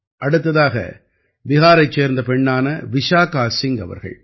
அடுத்ததாக பிஹாரைச் சேர்ந்த பெண்ணான விசாகா சிங் அவர்கள்